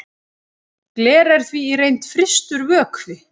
gler er því í reynd frystur vökvi